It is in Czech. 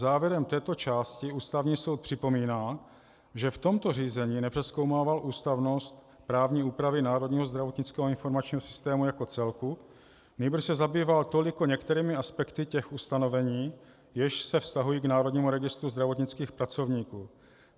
Závěrem této části Ústavní soud připomíná, že v tomto řízení nepřezkoumával ústavnost právní úpravy Národního zdravotnického informačního systému jako celku, nýbrž se zabýval toliko některými aspekty těch ustanovení, jež se vztahují k Národnímu registru zdravotnických pracovníků.